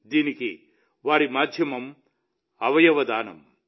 దీనికి వారి మాధ్యమం అవయవ దానం